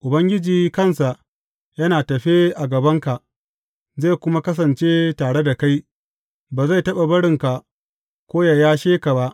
Ubangiji kansa yana tafe a gabanka, zai kuma kasance tare da kai, ba zai taɓa barinka ko yă yashe ka ba.